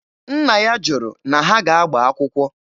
Nna ya jụrụ na ha ga-agba akwụkwọ.